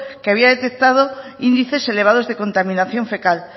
que había detectado índices elevados de contaminación fecal